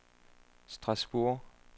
Strasbourg